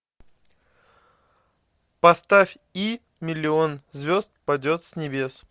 поставь и миллион звезд падет с небес